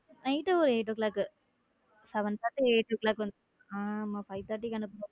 Night ஒர eight o clock seven thirty eight o clock வந்துருவா, ஆமா five thirty க்கு அனுப்புவேன்.